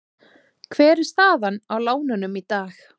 Hver er staðan á lánunum í dag?